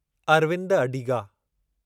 Arvind Adiga